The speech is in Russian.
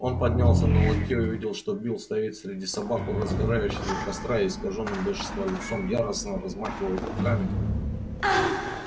он поднялся на локте и увидел что билл стоит среди собак у разгорающего костра и с искажённым от бешенства лицом яростно размахивает руками